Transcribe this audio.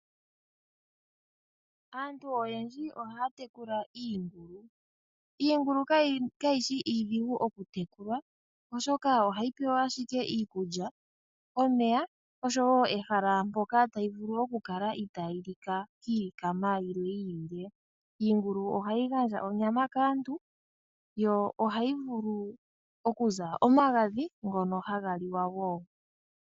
Aantu oyendji ohaya tekula iingulu, iingulu kayishi iidhigu oku tekulwa oshoka ohayi pewa ashike iikulya, omeya osho woo ehala mpoka tayi vulu oku kaka itaa yi Luka kiilikama yimwe yiilile. Iingulu ohayi gandja onyama kaantu, yo ohayi vulu okuza omagadhi ngono haga liwa.